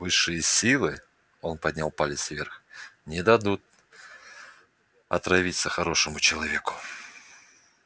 высшие силы он поднял палец вверх не дадут отравиться хорошему человеку